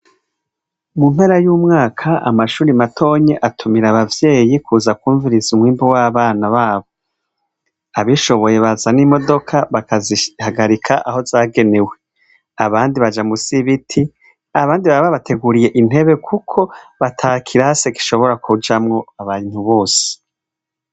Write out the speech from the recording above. Mu mpera y' umwaka amashure matonya atumira abavyeyi kuza kwumviriza umwimbu w'abana babo. Ababishoboye baza n'imodoka bakazihagarika aho zagenewe, abandi baja musi y'ibiti, abandi baba babateguriye intebe kuko ata kirasi gishobora kujamwo abantu bose.